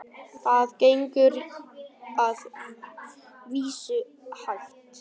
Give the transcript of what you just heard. Það gengur að vísu hægt.